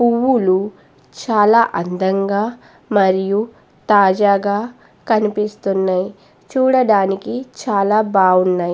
పూవులు చాల అందంగా మరియు తాజాగా కనిపిస్తునాయి చూడటానికి చాల బాగున్నాయి.